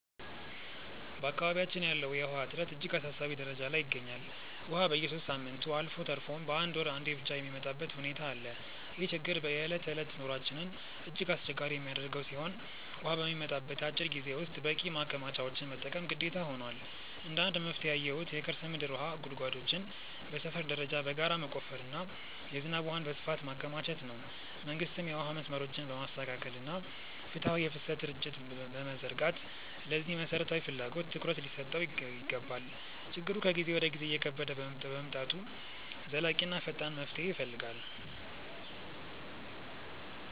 በአካባቢያችን ያለው የውሃ እጥረት እጅግ አሳሳቢ ደረጃ ላይ ይገኛል፤ ውሃ በየሦስት ሳምንቱ አልፎ ተርፎም በአንድ ወር አንዴ ብቻ የሚመጣበት ሁኔታ አለ። ይህ ችግር የዕለት ተዕለት ኑሯችንን እጅግ አስቸጋሪ የሚያደርገው ሲሆን፣ ውሃ በሚመጣበት አጭር ጊዜ ውስጥ በቂ ማከማቻዎችን መጠቀም ግዴታ ሆኗል። እንደ መፍትሄ ያየሁት የከርሰ ምድር ውሃ ጉድጓዶችን በሰፈር ደረጃ በጋራ መቆፈርና የዝናብ ውሃን በስፋት ማከማቸት ነው። መንግስትም የውሃ መስመሮችን በማስተካከልና ፍትሃዊ የፍሰት ስርጭት በመዘርጋት ለዚህ መሠረታዊ ፍላጎት ትኩረት ሊሰጠው ይገባል። ችግሩ ከጊዜ ወደ ጊዜ እየከበደ በመምጣቱ ዘላቂና ፈጣን መፍትሄ ይፈልጋል።